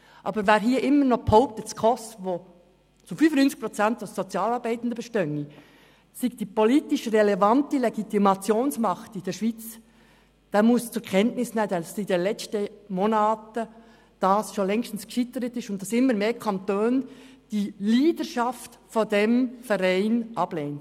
Aber wer hier immer noch behauptet, dass die SKOS, die zu 95 Prozent aus Sozialarbeitenden besteht, die politisch relevante Legitimationsmacht in der Schweiz sei, der muss zur Kenntnis nehmen, dass das in den letzten Monaten schon längstens gescheitert ist und immer mehr Kantone die Leadership dieses Vereins ablehnen.